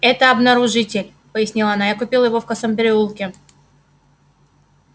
это обнаружитель пояснила она я купила его в косом переулке